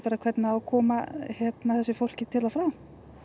hvernig á að koma þessu fólki til og frá